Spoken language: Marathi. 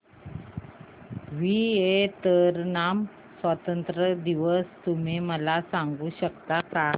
व्हिएतनाम स्वतंत्रता दिवस तुम्ही मला सांगू शकता का